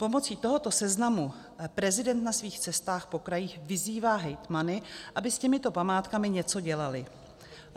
Pomocí tohoto seznamu prezident na svých cestách po krajích vyzývá hejtmany, aby s těmito památkami něco dělali.